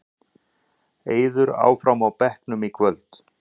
Eiður áfram á bekknum í kvöld